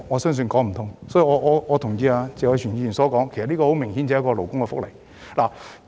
因此，我同意謝偉銓議員的說法，這明顯是勞工福利問題。